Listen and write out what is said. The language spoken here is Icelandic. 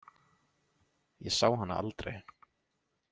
Ég sá hana aldrei.